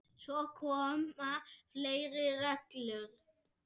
Svo koma fleiri reglur.